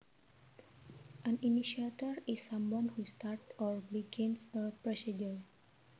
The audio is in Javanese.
An initiator is someone who starts or begins a procedure